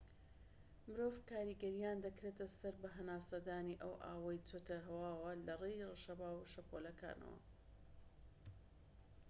مرۆڤ کاریگەریان دەکرێتە سەر بە هەناسەدانی ئەو ئاوەی چۆتە هەواوە لەڕێی ڕەشەبا و شەپۆلەکانەوە